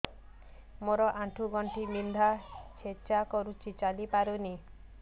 ମୋର ଆଣ୍ଠୁ ଗଣ୍ଠି ବିନ୍ଧା ଛେଚା କରୁଛି ଚାଲି ପାରୁନି